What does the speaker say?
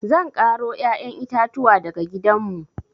Zan ƙaro ƴaƴan itatuwa daga gidanmu.